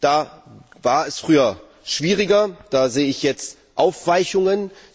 Das war früher schwieriger, da sehe ich jetzt Aufweichungen.